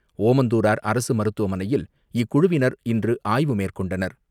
ஓமந்தூரார் அரசுமருத்துவமனையில் இக்குழுவினர் இன்றுஆய்வு மேற்கொண்டனர்.